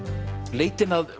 leitin að